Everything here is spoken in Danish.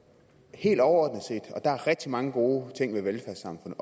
helt overordnet set og der er rigtig mange gode ting ved velfærdssamfundet